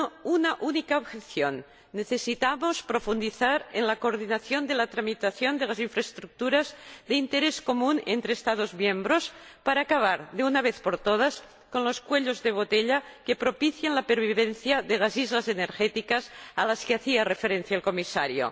Una única objeción necesitamos profundizar en la coordinación de la tramitación de las infraestructuras de interés común entre Estados miembros para acabar, de una vez por todas, con los cuellos de botella que propician la pervivencia de las islas energéticas a las que hacía referencia el Comisario.